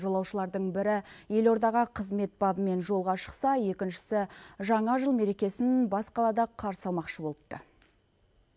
жолаушылардың бірі елордаға қызмет бабымен жолға шықса екіншісі жаңа жыл мерекесін бас қалада қарсы алмақшы болыпты